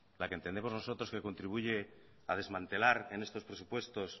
la que entendemos nosotros que contribuye a desmantelar en estos presupuestos